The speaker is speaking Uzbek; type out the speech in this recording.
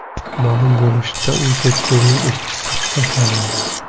Ma’lum bo‘lishicha, u cherkovning ishchisi hisoblanadi.